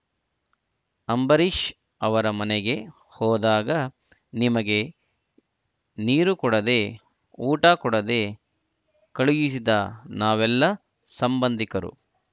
ಅಂಬರೀಶ್ ಅವರ ಮನೆಗೆ ಹೋದಾಗ ನಿಮಗೆ ನೀರು ಕೊಡದೆ ಊಟ ಕೊಡದೆ ಕಳುಹಿಸಿದ್ರಾ ನಾವೆಲ್ಲಾ ಸಂಬಂಧಿಕರು